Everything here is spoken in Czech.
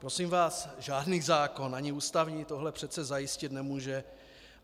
Prosím vás, žádný zákon, ani ústavní, tohle přece zajistit nemůže.